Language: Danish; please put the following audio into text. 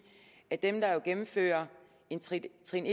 at for dem der gennemfører en trin trin